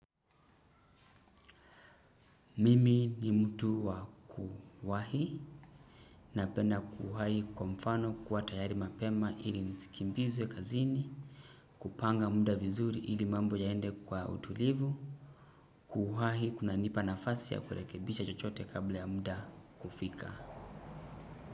Mimi ni mtu wa kuwahi, napenda kuhahi kwa mfano kuwa tayari mapema ili nisikimbizwe kazini, kupanga muda vizuri ili mambo yaende kwa utulivu, kuhahi kuna nipa nafasi ya kurekebisha chochote kabla ya muda kufika.